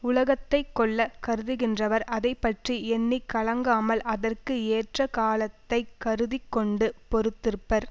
உலகத்தை கொள்ள கருதிகின்றவர் அதை பற்றி எண்ணி கலங்காமல் அதற்கு ஏற்ற காலத்தை கருதி கொண்டு பொறுத்திருப்பர்